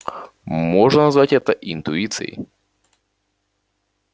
можно назвать это интуицией